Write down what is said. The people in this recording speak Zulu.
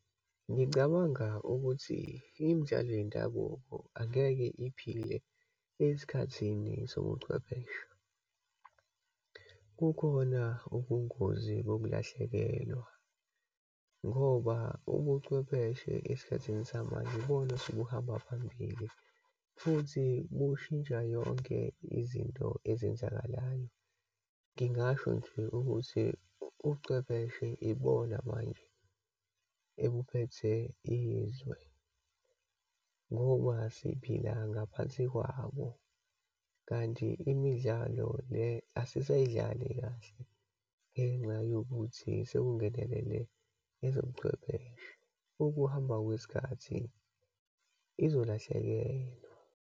Ngicabanga ukuthi imtshalo yendabuko angeke iphile, esikhathini sobuchwepheshe. Kukhona ubungozi bokulahlekelwa ngoba ubucwebeshe esikhathini samanje ibona osebuhamba phambili futhi bushintsha yonke izinto ezenzakalayo. Ngingasho nje ukuthi, ucwepheshe ibona manje ebuphethe izwe, ngoba siphila ngaphansi kwabo. Kanti imidlalo le, asizayidlali kahle ngenxa yokuthi sekungenelela ezobuchwepheshe. Ukuhamba kwesikhathi izolahlekelwa.